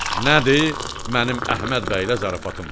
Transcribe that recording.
Nədir, mənim Əhməd bəylə zarafatım var.